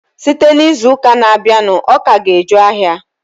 Site n'izuụka na-abịanụ, ọka ga-eju ahịa.